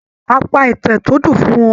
A pa ìtàn tó dùn fún wọn.